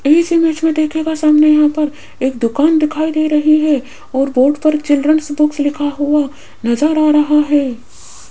इस इमेज में देखिएगा सामने यहां पर एक दुकान दिखाई दे रही है और बोर्ड पर चिल्ड्रंस बुक लिखा हुआ नजर आ रहा है।